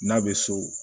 N'a bɛ so